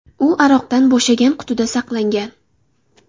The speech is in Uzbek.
U aroqdan bo‘shagan qutida saqlangan.